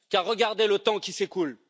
Regardez le temps qui s'écoule!